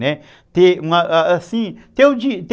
ter assim